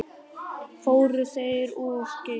Fóru þeir of geyst?